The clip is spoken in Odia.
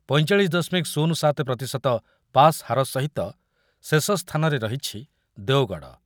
ପଇଁଚାଳିଶି ଦଶମିକ ଶୂନ୍ୟ ସାତ ପ୍ରତିଶତ ପାସ୍ ହାର ସହିତ ଶେଷ ସ୍ଥାନରେ ରହିଛି ଦେଓଗଡ଼ ।